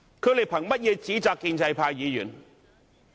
他們憑甚麼指責建制派議員？